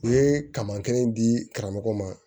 U ye kaman kelen di karamɔgɔ ma